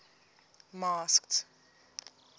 masked